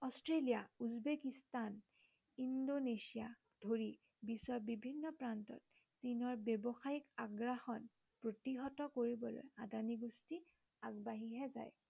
Australia Uzbekistan ইণ্ডোনেছিয়াক ধৰি বিশ্বৰ বিভিন্ন প্ৰান্তত চীনৰ ব্য়ৱসায়িক আগ্ৰাসন প্ৰতিহত কৰিবলৈ আদানী গোষ্ঠী আগবাঢ়িহে যায়।